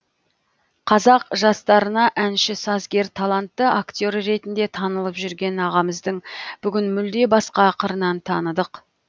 қазақ жастарына әнші сазгер талантты актер ретінде танылып жүрген ағамыздың бүгін мүлде басқа қырынан таныдық